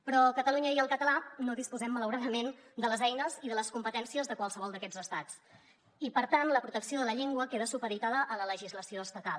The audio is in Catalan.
però catalunya i el català no disposen malauradament de les eines i de les competències de qualsevol d’aquests estats i per tant la protecció de la llengua queda supeditada a la legislació estatal